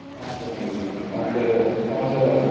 ನಾನ್ ಚೆನ್ನಾಗಿದ್ದೇನೆ ಮತ್ತೆ ಸಮಾಚಾರ ಎಲ್ಲ.